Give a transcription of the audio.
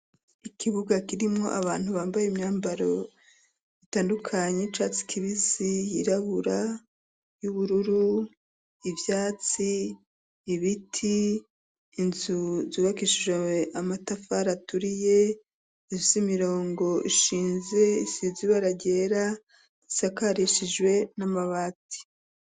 Ikibuga kirimwo abantu bambaye imyambaro itandukanye y'icatsi kibisi, yirabura, y'ubururu, ivyatsi, ibiti, inzu zubakishijwe amatafari aturiye ifise imirongo ishinze isize ibara ryera isakarishijwe n'amabati.